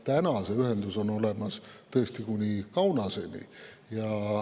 Täna on see ühendus olemas tõesti kuni Kaunaseni.